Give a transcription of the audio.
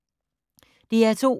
DR2